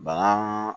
Bana